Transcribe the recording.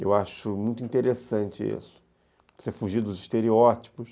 Eu acho muito interessante isso, você fugir dos estereótipos.